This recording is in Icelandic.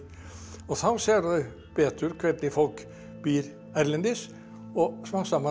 og þá sér það betur hvernig fólk býr erlendis og smám saman